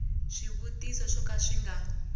swivutiso swo ka swi nga